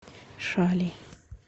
шали